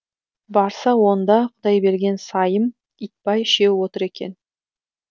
барса онда құдайберген сайым итбай үшеуі отыр екен